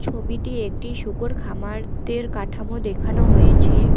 ছবিটি একটি শূকর খামারদের কাঠামো দেখানো হয়েছে।